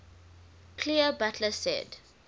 clear butler said